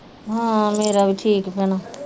ਹਾਂ ਮੇਰਾ ਵੀ ਠੀਕ ਭੈਣਾ